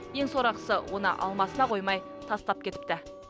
ең сорақысы оны алмасына қоймай тастап кетіпті